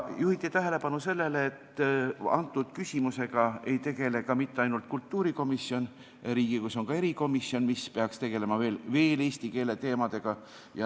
Juhiti tähelepanu sellele, et antud küsimusega ei tegele mitte ainult kultuurikomisjon, vaid Riigikogus on ka erikomisjon, mis peaks samuti tegelema eesti keele teemadega.